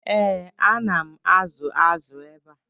Ee, ana m azụ azụ ebe a.